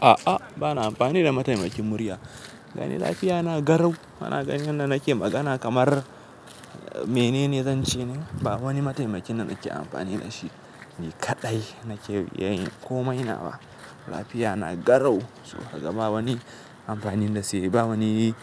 A'a, ba na amfani da mataimakin murya. Gani lafiya na garau. Bana ganin yadda nake magana kamar menene zan ce ne. Ba wani mataimaki na nake amfani da shi. Ni kaɗai nake iya yin komai nawa. Lafiya na garau, so kaga ba wani amfani na si ba wani